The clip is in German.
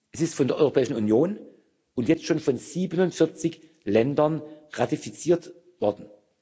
Es ist von der Europäischen Union und jetzt schon von 47 Ländern ratifiziert worden.